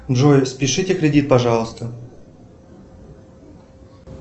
джой спишите кредит пожалуйста